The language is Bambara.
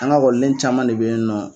An ga ekɔniden caman de be yen nɔ